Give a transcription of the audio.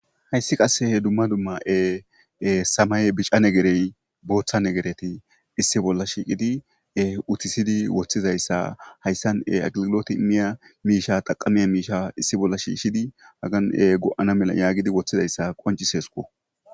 hayssi qasse dumma dumma samaye bica negerey booththa negereti issi bolla shiiqidi utisidi woththizayssa hayssan aggloti imiya miisha taqamea miisha issi bolla shiishidi hagan go7ana mela yaagidi woththizayssa qoncisesko